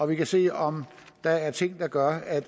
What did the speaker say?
vi kan se om der er ting der gør